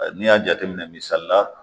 Ɛɛ n'i y'a jateminɛ misali la